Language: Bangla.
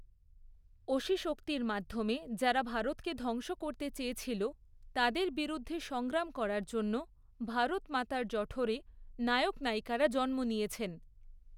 অসিশক্তির মাধ্যমে যারা ভারতকে ধ্বংস করতে চেয়েছিল, তাদের বিরুদ্ধে সংগ্রাম করার জন্য ভারতমাতার জঠোরে নায়ক নায়িকারা জন্ম নিয়েছেন।